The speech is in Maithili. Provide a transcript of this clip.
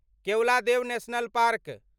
Keoladeo national park